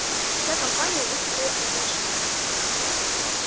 вся компания высыпала из машины